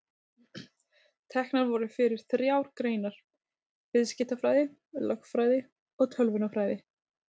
Teknar voru fyrir þrjár greinar: Viðskiptafræði, lögfræði og tölvunarfræði.